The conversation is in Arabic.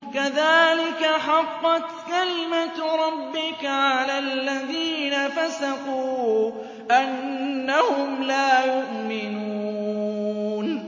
كَذَٰلِكَ حَقَّتْ كَلِمَتُ رَبِّكَ عَلَى الَّذِينَ فَسَقُوا أَنَّهُمْ لَا يُؤْمِنُونَ